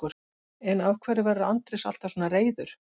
En af hverju verður Andrés alltaf svona reiður?